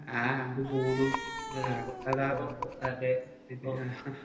ആഹ് കൂടും ആഹ് ആകും അതാകും